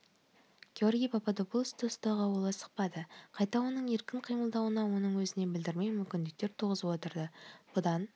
георгий пападопулосты ұстауға ол асықпады қайта оның еркін қимылдауына оның өзіне білдірмей мүмкіндіктер туғызып отырды бұдан